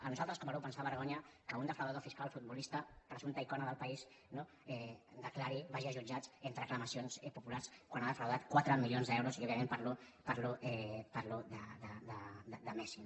a nosaltres com a grup ens fa vergonya que un defraudador fiscal futbolista presumpta icona del país no declari vagi a jutjats entre aclamacions populars quan ha defraudat quatre milions d’euros i òbviament parlo de messi